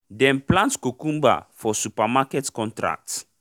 dem plant cucumber for supermarket contract